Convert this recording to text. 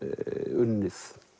unnið